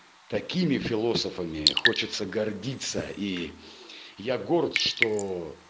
такими философами хочется гордиться и я горд что